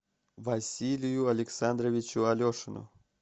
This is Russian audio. василию александровичу алешину